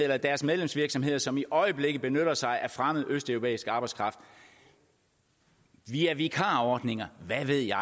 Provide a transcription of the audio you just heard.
eller deres medlemsvirksomheder ind som i øjeblikket benytter sig af fremmed østeuropæisk arbejdskraft via vikarordninger og hvad ved jeg